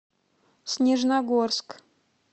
снежногорск